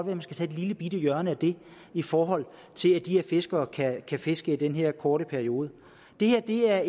man skal tage et lillebitte hjørne af den i forhold til at de her fiskere kan kan fiske i den her korte periode det her er